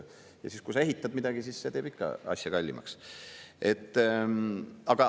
Ja siis, kui sa ehitad midagi, siis see teeb ikka asja kallimaks.